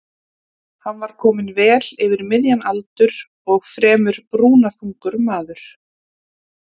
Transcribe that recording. Hann var kominn vel yfir miðjan aldur og fremur brúnaþungur maður.